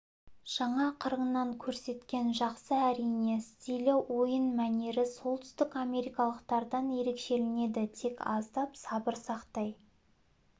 жаңа қырыңнан көрсеткен жақсы әрине стилі ойын мәнері солтүстік америкалықтардан ерекшеленеді тек аздап сабыр сақтай